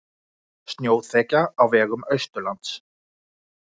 Snjóþekja á vegum austanlands